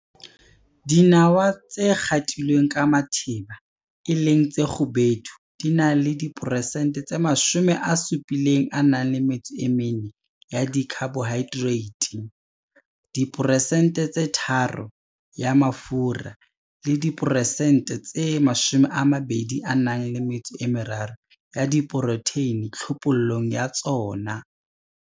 Dinawa tsa dispeckled, e leng tse kgubedu di na le diphesente tse 74 ya di-carbohydrates, diphesente tse 3 ya mafura le diphesente tse 23 diproteine tlhophollong ya tsona.